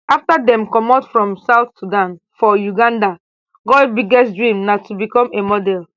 afta dem comot from south sudan for uganda goi biggest dream na to become a model